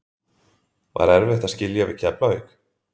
Var erfitt að skilja við Keflavík?